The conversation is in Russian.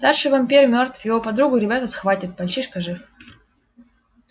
старший вампир мёртв его подругу ребята схватят мальчишка жив